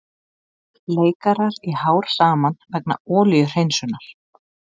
Leikarar í hár saman vegna olíuhreinsunar